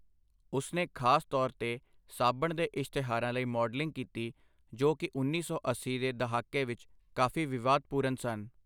ਉਸਨੇ ਖਾਸ ਤੌਰ 'ਤੇ ਸਾਬਣ ਦੇ ਇਸ਼ਤਿਹਾਰਾਂ ਲਈ ਮਾਡਲਿੰਗ ਕੀਤੀ, ਜੋ ਕਿ ਉੱਨੀ ਸੌ ਅੱਸੀ ਦੇ ਦਹਾਕੇ ਵਿੱਚ ਕਾਫ਼ੀ ਵਿਵਾਦਪੂਰਨ ਸਨ।